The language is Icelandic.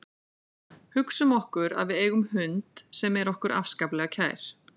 Hugsum okkur að við eigum hund sem er okkur afskaplega kær.